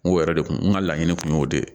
N ko yɛrɛ de kun n ka laɲini tun y'o de ye